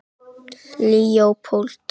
Leópold, hvaða vikudagur er í dag?